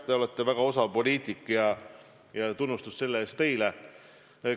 Te olete väga osav poliitik ja tunnustus selle eest teile!